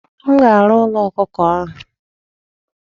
M ga-arụ ụlọ ọkụkọ ahụ.